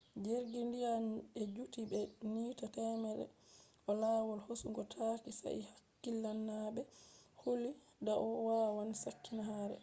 jirgi ndiya je juti be mita temerre ɗo lawol hosugo taaki sai hakkilinaaɓe huli dau wawan sakkina kare